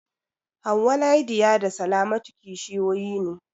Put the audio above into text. Hauwa, Lydia da Salamatu kishiyoyi ne.